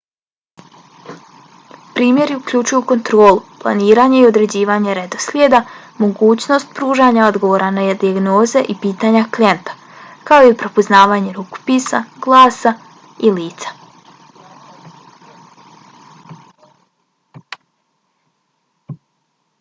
primjeri uključuju kontrolu planiranje i određivanje redoslijeda mogućnost pružanja odgovora na dijagnoze i pitanja klijenta kao i prepoznavanje rukopisa glasa i lica